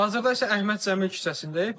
Hazırda isə Əhməd Cəmil küçəsindəyik.